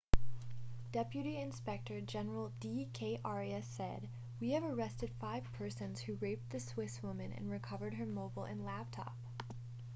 deputy inspector general d k arya said we have arrested five persons who raped the swiss woman and recovered her mobile and laptop